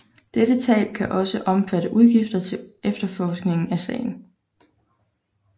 Dette tab kan også omfatte udgifter til efterforskning af sagen